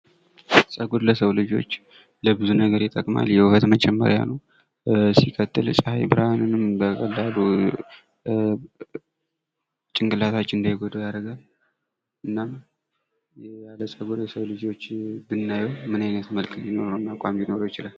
ጸጉር ለሰው ልጆች ለብዙ ነገር ይጠቅማል። ለውበት መጨመሪያ ነው ሲቀጥ የፀሐይ ብርሃንንም ጭንቅላታችን እንዳይጎዳው ያደርጋል። እናም ያለ ጸጉር የሰው ልጆች ብናየው ምን አይነት መልክና ሊኖረውና አቋም ሊኖረው ይችላል?